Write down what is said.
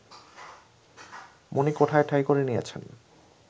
মনিকোঠায় ঠাঁই করে নিয়েছেন